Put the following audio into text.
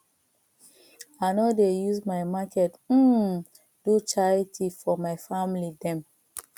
i no dey use my market um do charity for my family dem